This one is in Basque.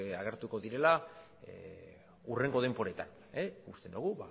agertuko direla hurrengo denboretan uste dugu